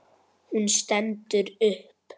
Hún stendur upp.